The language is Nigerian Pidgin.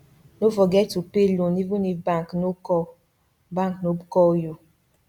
no forget to pay loan even if bank no call bank no call you